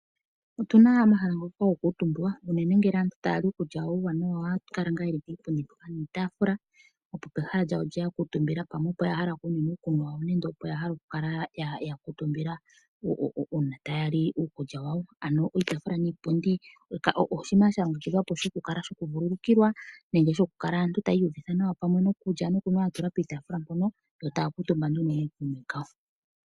Otu na omahala ngoka haga kuutumbwa unene ngele aantu taya li iikulya yawo ohaya kala ye li puupundi mboka nuutaafula. Pehala mpoka ya kuutumba opo wo ya hala okunwina uukunwa wawo, opo ya hala okukala ya kuutumba uuna taya li iikulya yawo, ano uutaafula nuupundi oshinima sha longekidhwa shokuvululukilwa nenge okukala aantu taya iuvutha nawa iikulya ya tulwa piitaafula mpoka, yo taya kuutumba nduno nookuume kawo.